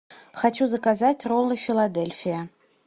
хочу заказать роллы филадельфия